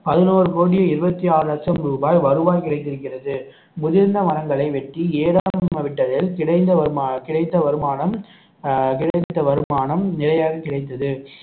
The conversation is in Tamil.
பதினோரு கோடியே இருபத்தி ஆறு லட்சம் ரூபாய் வருவாய் கிடைத்திருக்கிறது முதிர்ந்த மரங்களை வெட்டி கிடைந்த வருமானம் கிடைத்த வருமானம் அஹ் கிடைத்த வருமானம் நிலையாக கிடைத்தது